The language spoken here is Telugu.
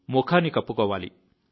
ముఖాన్ని కప్పుకోవాలి